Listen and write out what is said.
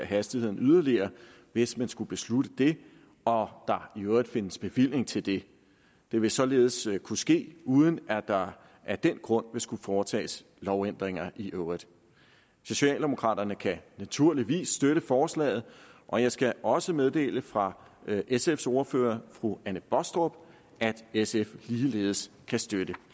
hastigheden yderligere hvis man skulle beslutte det og der i øvrigt findes bevilling til det det vil således kunne ske uden at der af den grund vil skulle foretages lovændringer i øvrigt socialdemokraterne kan naturligvis støtte forslaget og jeg skal også meddele fra sfs ordfører fru anne baastrup at sf ligeledes kan støtte